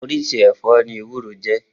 Oríṣi ẹ̀fọ́ ní ewúro jẹ́.